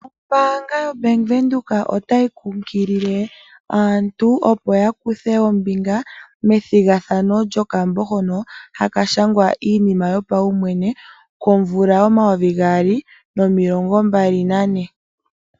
Ombaanga yaBank Windhoek otayi kumagidha aantu opo yakuthe ombinga methigathano lyokambo hoka haka shangwa iinima yopaumwene momayovi gaali nomilongo mbali nane.